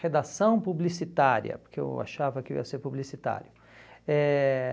Redação publicitária, porque eu achava que ia ser publicitário. Eh